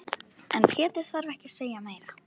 En Pétur þarf ekki að segja meira.